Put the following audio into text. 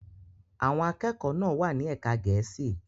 Àwọn akẹ́kọ̀ọ́ náà wà ní ẹ̀ka Gẹ̀ẹ́sì.